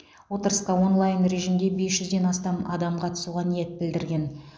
отырысқа онлайн режимде бес жүзден астам адам қатысуға ниет білдірген